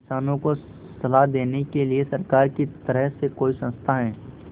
किसानों को सलाह देने के लिए सरकार की तरफ से कोई संस्था है